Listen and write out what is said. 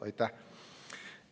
Aitäh!